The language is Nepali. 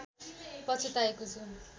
पछुताएको छु